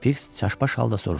Fiks çaşbaş halda soruşdu.